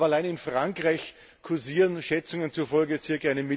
Aber allein in Frankreich kursieren Schätzungen zufolge ca.